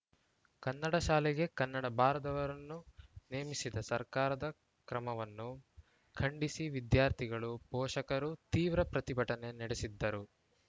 ಕನ್ನಡ ಶಾಲೆಗೆ ಕನ್ನಡ ಬಾರದವರನ್ನು ನೇಮಿಸಿದ ಸರ್ಕಾರದ ಕ್ರಮವನ್ನು ಖಂಡಿಸಿ ವಿದ್ಯಾರ್ಥಿಗಳು ಪೋಷಕರು ತೀವ್ರ ಪ್ರತಿಭಟನೆ ನಡೆಸಿದ್ದರು